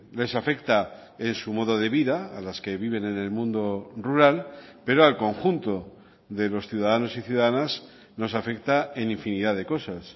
les afecta en su modo de vida a las que viven en el mundo rural pero al conjunto de los ciudadanos y ciudadanas nos afecta en infinidad de cosas